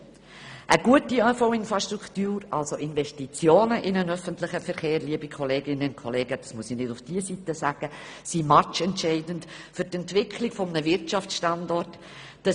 » Eine gute ÖV-Infrastruktur, also Investitionen in den ÖV – liebe Kolleginnen und Kollegen, dies muss ich nicht zur linken Seite sagen – sind matchentscheidend für die Entwicklung eines Wirtschaftsstandorts.